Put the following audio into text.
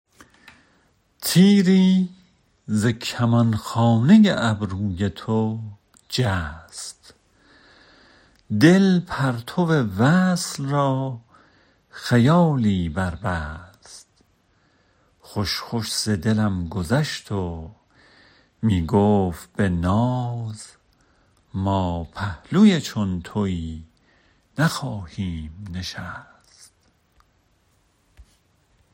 تیری ز کمانخانه ابروی تو جست دل پرتو وصل را خیالی بربست خوش خوش ز دلم گذشت و می گفت به ناز ما پهلوی چون تویی نخواهیم نشست